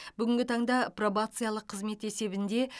бүгінгі таңда пробациялық қызмет есебінде